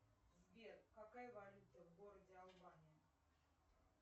сбер какая валюта в городе албания